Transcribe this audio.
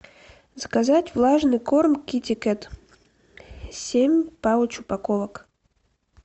заказать влажный корм китикет семь пауч упаковок